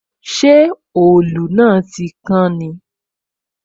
Ṣé òòlù náà tí kán ni?